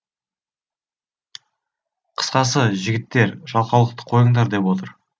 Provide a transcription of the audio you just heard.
қысқасы жігіттер жалқаулықты қойыңдар деп отыр